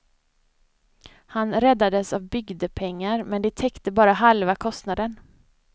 Han räddades av bygdepengar, men de täckte bara halva kostnaden.